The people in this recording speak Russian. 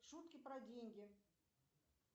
шутки про деньги